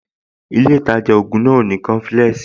Ilé ìtajà ògùn náà ò ní coflex